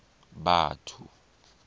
batho